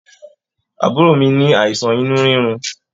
Àbúrò mí ní àìsàn inú rirun.